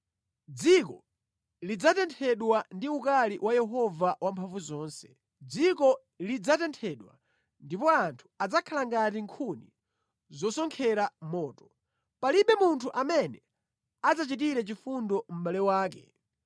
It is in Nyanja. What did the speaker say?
Dziko lidzatenthedwa ndi ukali wa Yehova Wamphamvuzonse, dziko lidzatenthedwa ndipo anthu adzakhala ngati nkhuni zosonkhera moto; palibe munthu amene adzachitire chifundo mʼbale wake.